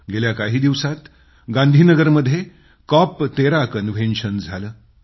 गेल्या काही दिवसांत गांधीनगरमध्ये कॉप13 कन्व्हेन्शन झालं